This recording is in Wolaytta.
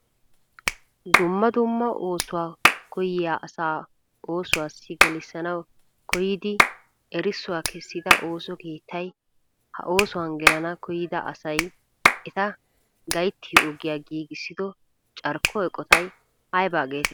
dumma dumma oosuwa koyyiya asa oosuwassi gelissanaw koyyidi erissuwa kessida ooso keettay ha oosuwan gelanaw koyyida asay eta gayttiyo ogiyaa giigissido carkko eqqotay aybba getetti?